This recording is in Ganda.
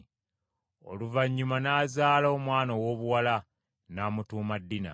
Oluvannyuma n’azaala omwana owoobuwala, n’amutuuma Dina.